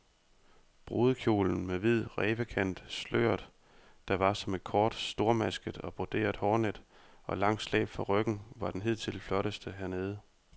Brudekjolen med hvid rævekant, sløret, der var som et kort stormasket og broderet hårnet og langt slæb fra ryggen var den hidtil flotteste hernede.